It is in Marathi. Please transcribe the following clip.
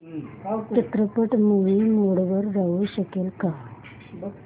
चित्रपट मूवी मोड मध्ये येऊ शकेल का